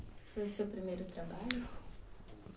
Foi o seu primeiro trabalho?